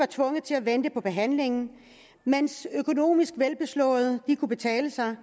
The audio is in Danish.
tvunget til at vente på behandling mens økonomisk velbeslåede kunne betale sig